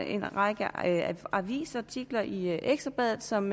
en række avisartikler i ekstra bladet som